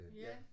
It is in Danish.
Ja